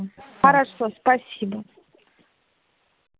хорошо спасибо